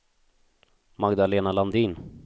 Magdalena Landin